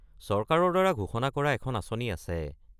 চৰকাৰৰ দ্বাৰা ঘোষণা কৰা এখন আঁচনি আছে।